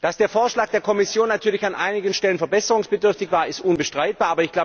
Dass der Vorschlag der Kommission natürlich an einigen Stellen verbesserungsbedürftig war, ist unbestreitbar.